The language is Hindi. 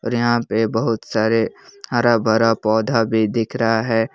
यहां पे बहुत सारे हरा भरा पौधा भी दिख रहा है।